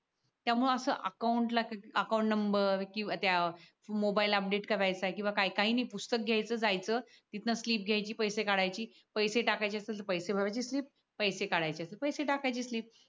त्यामुळे असं अकाउंटला अकाउंट नंबर किंवा त्या मोबाईल अपडेट करायचा किंवा काय काही नाही पुस्तक घ्यायचं जायचं तिथन स्लीप घ्यायची पैसे टाकायचे असतील तर पैसे भरायची स्लीप पैसे काढायचे असतील तर पैसे टाकायची स्लीप